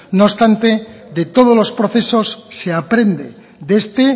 no obstante de todos los procesos se aprende de este